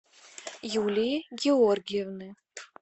юлии георгиевны